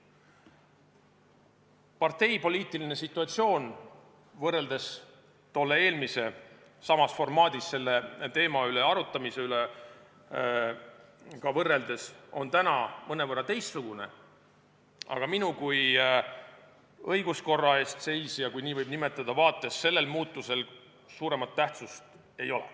Parteipoliitiline situatsioon võrreldes tolle eelmise samas formaadis selle teema üle arutamisega on praegu küll mõnevõrra teistsugune, aga minu kui õiguskorra eest seisja – kui nii võib nimetada – vaates sellel muutusel suuremat tähtsust ei ole.